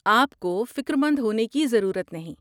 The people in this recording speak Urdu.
آپ کو فکر مند ہونے کی ضرورت نہیں ہے۔